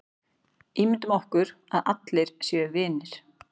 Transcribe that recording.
Ímyndum okkur að allir séu vinir.